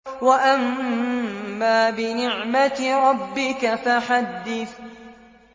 وَأَمَّا بِنِعْمَةِ رَبِّكَ فَحَدِّثْ